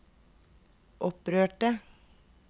opprørte